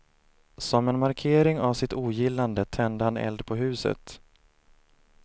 Som en markering av sitt ogillande tände han eld på huset.